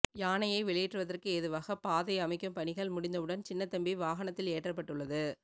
யானையை வெளியேற்றுவதற்கு ஏதுவாக பாதை அமைக்கும் பணிகள் முடிந்தவுடன் சின்னத்தம்பி வாகனத்தில் ஏற்றப்பட்டுள்ளது